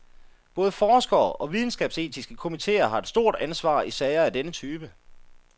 Både forskere og videnskabsetiske komiteer har et stort ansvar i sager af denne type.